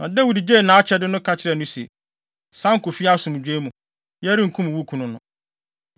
Na Dawid gyee nʼakyɛde no, ka kyerɛɛ no se, “San kɔ fie asomdwoe mu. Yɛrenkum wo kunu no.”